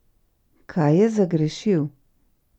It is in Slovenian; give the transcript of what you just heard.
Kaj je zagrešil?